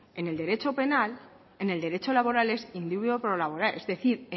en el derecho penal en el derecho laboral es in dubio pro laborem es decir